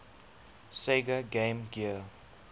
sega game gear